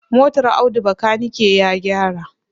Motar Audu bakanike ya gyara.